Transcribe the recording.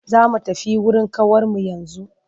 Za mu tafi wurin ƙawarmu yanzu.